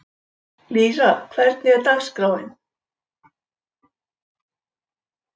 Lýra, hvernig er dagskráin?